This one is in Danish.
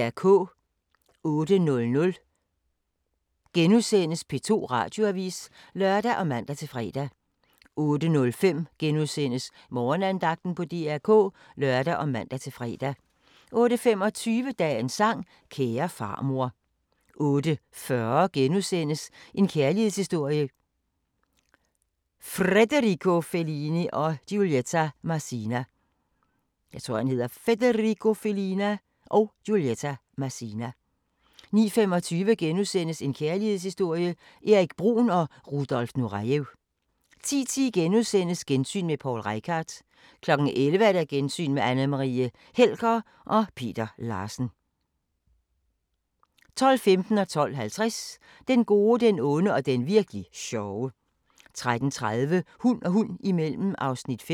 08:00: P2 Radioavis *(lør og man-fre) 08:05: Morgenandagten på DR K *(lør og man-fre) 08:25: Dagens sang: Kære farmor 08:40: En kærlighedshistorie – Frederico Fellini & Giulietta Masina * 09:25: En kærlighedshistorie – Erik Bruhn & Rudolf Nurejev * 10:10: Gensyn med Poul Reichhardt * 11:00: Gensyn med Anne Marie Helger og Peter Larsen 12:15: Den gode, den onde og den virk'li sjove 12:50: Den gode, den onde og den virk'li sjove 13:30: Hund og hund imellem (5:10)